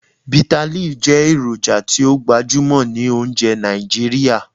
Bitterleaf jẹ eroja ti o gbajumọ ni ounjẹ Naijiria.